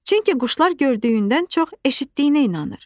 Çünki quşlar gördüyündən çox eşitdiyinə inanır.